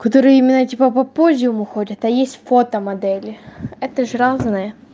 которые именно типа попозже уходит а есть фото модели это ж разные